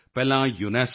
audio UNESCO D